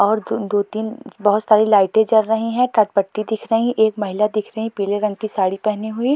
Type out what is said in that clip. और द दो तीन बहुत सारी लाइटें जल रही हैं करपट्टी दिख रही है एक महिला दिख रही है पीले रंग की साड़ी पहनी हुए।